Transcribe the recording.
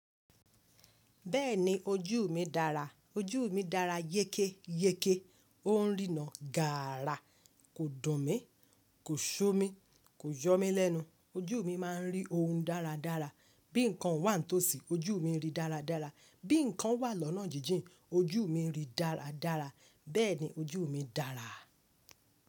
Bẹ́ẹ̀ni ojú mi dára. Ojú mi dára yékéyéké. Ó ń rína gààrà, kò dùn mí, kò ṣú mi, kò yọ mí lẹ́nu. Ojú mi máa ń rí ohun dáradára. Ó ń rína gààrà, kò dùn mí, kò ṣú mi, kò yọ mí lẹ́nu. Bí nǹkan wà ní tòsí ojú mi ń ríi dáradára. Bẹ́ẹ̀ni ojú mi dára.